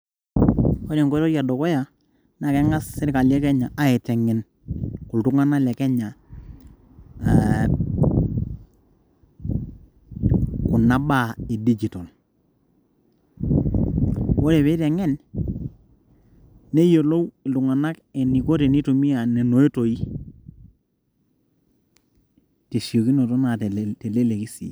ore enkoitoi e dukuya naa keng'as sirkali e kenya aiteng'en iltung'anak le kenya ee kuna baa e dijitol ore pee eiteng'en neyiolou iltung'anak eniko tenitumia nena oitoi teleleki naa tesiokinoto sii.